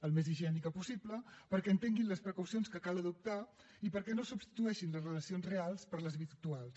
el més higiènica possible perquè entenguin les precaucions que cal adoptar i perquè no substitueixin les relacions reals per les virtuals